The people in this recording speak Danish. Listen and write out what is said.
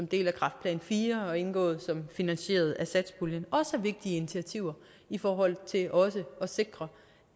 del af kræftplan iv og indgået som finansieret af satspuljen også er vigtige initiativer i forhold til at sikre